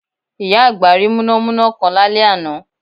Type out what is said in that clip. Ìyá àgbà rí múnámúná kan lálẹ́ àná